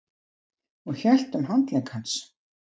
Hún hélt um handlegg hans.